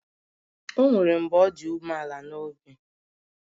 O nwere mgbe ọ dị umeala n'obi